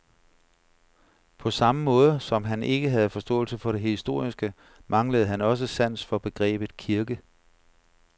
På samme måde, som han ikke havde forståelse for det historiske, manglede han også sans for begrebet kirke.